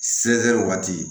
waati